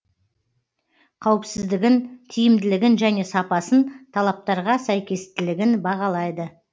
қауіпсіздігін тиімділігін және сапасын талаптарға сәйкестілігін бағалайды